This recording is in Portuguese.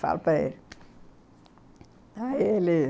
Falo para ele.